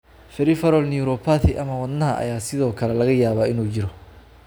Peripheral neuropathy ama wadnaha wadnaha ayaa sidoo kale laga yaabaa inuu jiro.